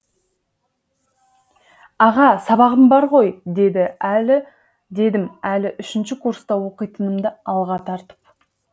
аға сабағым бар ғой дедім әлі үшінші курста оқитынымды алға тартып